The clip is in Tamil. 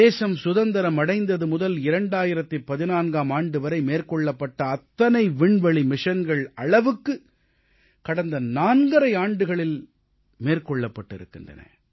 தேசம் சுதந்திரம் அடைந்தது முதல் 2014ஆம் ஆண்டு வரை மேற்கொள்ளப்பட்ட அத்தனை விண்வெளி மிஷன்கள் அளவுக்கு கடந்த நான்கரை ஆண்டுகளில் மேற்கொள்ளப்பட்டிருக்கின்றன